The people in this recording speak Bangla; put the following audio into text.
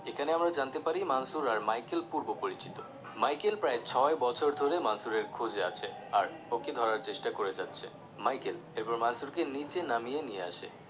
এখানে আমরা জানতে পারি মানসুর আর Michael পূর্ব পরিচিত Michael প্রায় ছয় বছর ধরে মানসুর এর খোঁজে আছে আর ওকে ধরার চেষ্টা করে যাচ্ছে Michael এবার মনসুরকে নিচে নামিয়ে নিয়ে আসে